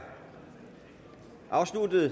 afsluttet